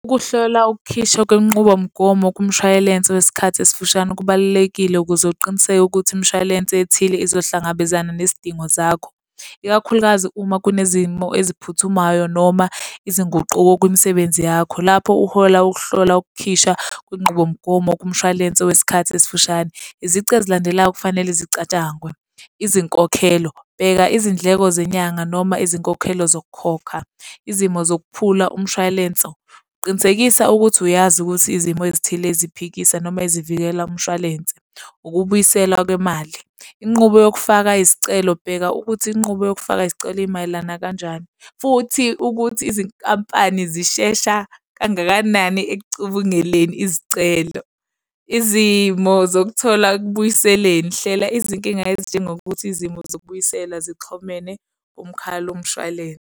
Ukuhlola ukukhishwa kwenqubomgomo kumshwalense wesikhathi esifushane kubalulekile ukuze uqiniseke ukuthi imishwalense ethile uzohlangabezana nezidingo zakho. Ikakhulukazi uma kunezimo eziphuthumayo noma izinguquko kwimsebenzi yakho. Lapho uhola ukuhlola ukukhishwa kwinqubomgomo kumshwalense wesikhathi esifushane, izici ezilandelayo okufanele zicatshangwe. Izinkokhelo. Bheka izindleko zenyanga noma izinkokhelo zokukhokha. Izimo zokuphula umshwalenso. Qinisekisa ukuthi uyazi ukuthi izimo ezithile eziphikisa noma ezivikela umshwalense, ukubuyiselwa kwemali. inqubo yokufaka isicelo. Bheka ukuthi inqubo yokufaka isicelo imayelana kanjani, futhi ukuthi izinkampani zishesha kangakanani ekucubunguleni izicelo. Izimo zokuthola ekubuyiseleni. Hlela izinkinga ezinjengokuthi izimo zokubuyisela zixhomene kumkhalo mshwalense.